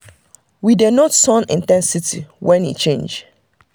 we dey note sun in ten sity when e change.